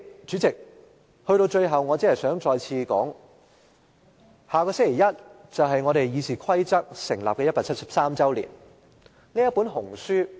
主席，我最後只想指出，下星期一就是立法會《議事規則》訂立173周年的日子。